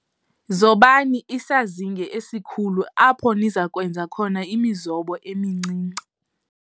Zobani isazinge esikhulu apho niza kwenza khona imizobo emincinane.